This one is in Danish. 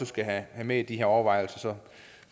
skal have med i de her overvejelser